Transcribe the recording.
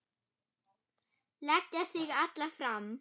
Leggja sig alla fram.